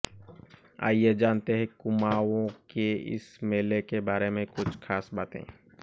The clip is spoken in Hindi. आइए जानते हैं कुमाऊं के इस मेले के बारे में कुछ खास बातें